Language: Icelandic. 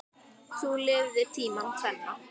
Þú lifðir tímana tvenna.